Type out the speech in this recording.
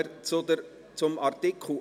Wir kommen zu Artikel 58.